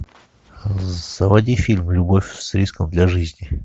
заводи фильм любовь с риском для жизни